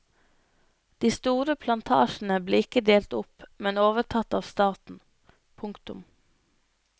De store plantasjene ble ikke delt opp men overtatt av staten. punktum